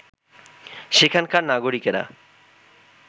সেখানকার নাগরিকেরা